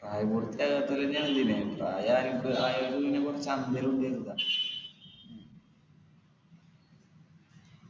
പ്രായപൂർത്തി ആകാത്തോരെ പ്രായാ ആയവരും നിപ്പോ